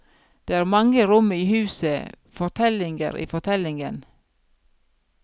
Det er mange rom i huset, fortellinger i fortellingen.